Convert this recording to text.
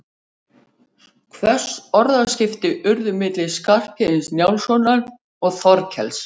Hvöss orðaskipti urðu milli Skarphéðins Njálssonar og Þorkels.